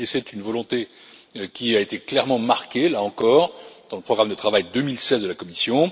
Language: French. C'est une volonté qui a été clairement marquée, là encore, dans le programme de travail 2016 de la Commission.